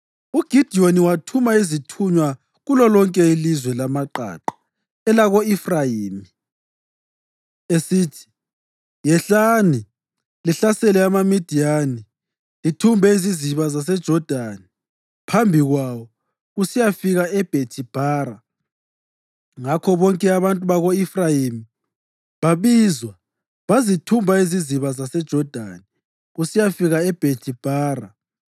UGidiyoni wathuma izithunywa kulolonke ilizwe lamaqaqa elako-Efrayimi, esithi, “Yehlani lihlasele amaMidiyani lithumbe iziziba zaseJodani phambi kwawo kusiyafika eBhethi-Bhara.” Ngakho bonke abantu bako-Efrayimi babizwa bazithumba iziziba zaseJodani kusiyafika eBhethi-Bhara.